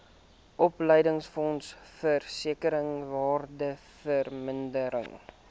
opleidingsfonds versekering waardevermindering